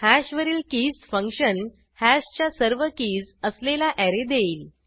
hash वरील keys function हॅशच्या सर्व कीज असलेला ऍरे देईल